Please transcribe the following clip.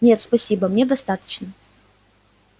нет спасибо мне достаточно